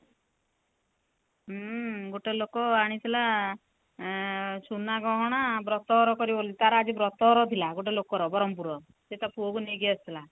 ହୁଁ ଗୋଟେ ଲୋକ ଆଣିଥିଲା ଆଁ ସୁନାଗହଣା ବ୍ରତ ଘର କରିବ ବୋଲି ତା ର ଆଜି ବ୍ରତ ଘର ଥିଲା ଗୋଟେ ଲୋକର ବ୍ରହ୍ମପୁର ର ସେ ତା ପୁଅ କୁ ନେଇକି ଆସିଥିଲା